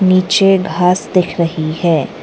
नीचे घास दिख रही है।